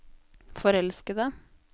forelskede